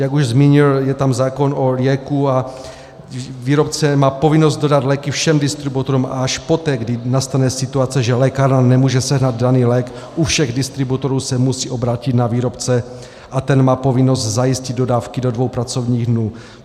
Jak už zmínil, je tam zákon o lieku a výrobce má povinnost dodat léky všem distributorům a až poté, kdy nastane situace, že lékárna nemůže sehnat daný lék u všech distributorů, se musí obrátit na výrobce a ten má povinnost zajistit dodávky do dvou pracovních dnů.